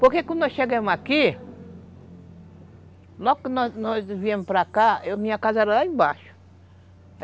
Porque quando nós chegamos aqui, logo que nós nós viemos para cá, minha casa era lá embaixo.